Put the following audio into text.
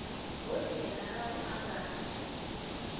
hu si na u angana